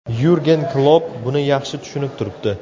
Yurgen Klopp buni yaxshi tushunib turibdi.